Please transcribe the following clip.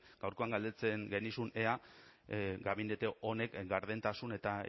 gaurkoan galdetzen genizun ea gabinete honek gardentasun eta